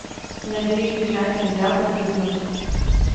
набери бежать нельзя погибнуть